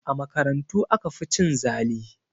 A makarantu aka fi cin zali